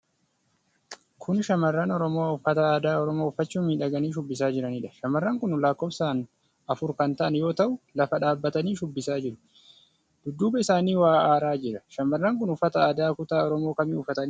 Kun shamarran Oromoo Uffata aadaa Oromoo uffachuun miidhaganii shubbisaa jiraniidha. Shamarran kun lakkoofsaan afur kan ta'an yoo ta'u, lafa dhaabatanii shubbisaa jiru. Dudduuba isaanii waa aaraa jira. Shamarran kun uffata aadaa kutaa Oromoo kamii uffatanii argamu?